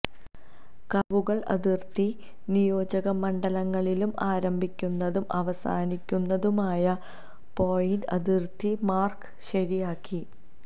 കർവുകൾ അതിർത്തി നിയോജകമണ്ഡലങ്ങളിലും ആരംഭിക്കുന്നതും അവസാനിക്കുന്നതുമായ പോയിന്റ് അതിർത്തി മാർക്ക് ശരിയാക്കി